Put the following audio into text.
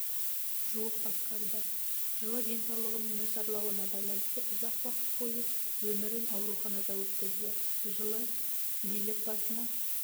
жуық басқарды жылы денсаулығының нашарлауына байланысты ұзақ уақыт бойы өмірін ауруханада өткізді жылы билік басына